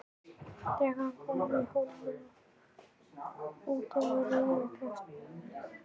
Þegar ég kom í Hólminn var útvegur í örum vexti.